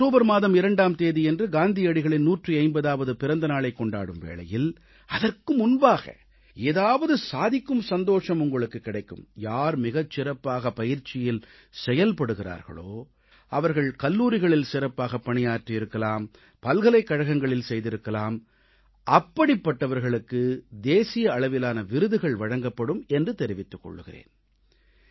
நாம் அக்டோபர் மாதம் 2ஆம் தேதியன்று காந்தியடிகளின் 150ஆவது பிறந்த நாளைக் கொண்டாடும் வேளையில் அதற்கு முன்பாக ஏதாவது சாதிக்கும் சந்தோஷம் உங்களுக்குக் கிடைக்கும் யார் மிகச் சிறப்பாக பயிற்சியில் செயல்படுகிறார்களோ அவர்கள் கல்லூரிகளில் சிறப்பாக பணியாற்றியிருக்கலாம் பல்கலைக்கழகங்களில் செய்திருக்கலாம் அப்படிப்பட்டவர்களுக்கு தேசிய அளவிலான விருதுகள் வழங்கப்படும் என்று தெரிவித்துக் கொள்கிறேன்